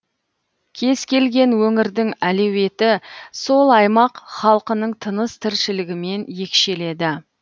кез келген өңірдің әлеуеті сол аймақ халқының тыныс тіршілігімен екшеледі